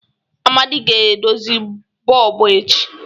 Amadi ga-edozi bọlbụ echi.